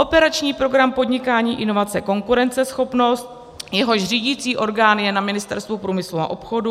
Operační program Podnikání, inovace, konkurenceschopnost, jehož řídicí orgán je na Ministerstvu průmyslu a obchodu;